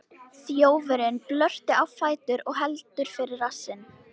Þjófurinn bröltir á fætur og heldur fyrir rassinn.